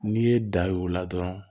N'i ye da y'o la dɔrɔn